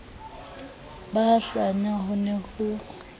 ba hlanya ho ne ho